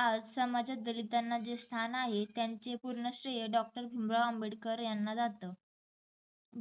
आज समाजात दलितांना जे स्थान आहे. त्यांचे पूर्ण श्रेय doctor भिमराव आंबेडकर यांना जात.